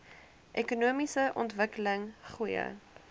ekonomiese ontwikkeling goeie